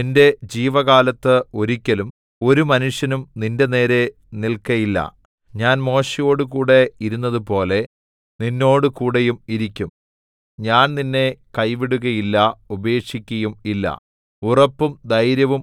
നിന്റെ ജീവകാലത്ത് ഒരിക്കലും ഒരു മനുഷ്യനും നിന്റെനേരെ നില്‍ക്കയില്ല ഞാൻ മോശെയോടുകൂടെ ഇരുന്നതുപോലെ നിന്നോടുകൂടെയും ഇരിക്കും ഞാൻ നിന്നെ കൈവിടുകയില്ല ഉപേക്ഷിക്കയും ഇല്ല